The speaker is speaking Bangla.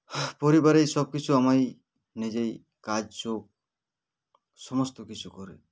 BREATHE পরিবারের সবকিছু আমাই নিজেই কাজ ঝোপ সমস্ত কিছু করি